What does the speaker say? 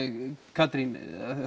Katrín